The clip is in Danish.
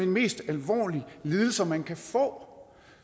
mest alvorlige lidelser man kan få